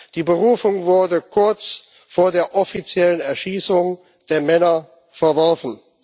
Die Berufung wurde kurz vor der offiziellen Erschießung der Männer verworfen.